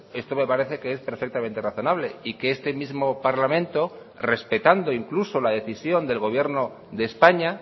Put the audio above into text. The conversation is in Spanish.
esto me parece que es perfectamente razonable y que este mismo parlamento respetando incluso la decisión del gobierno de españa